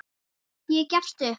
Ég gefst upp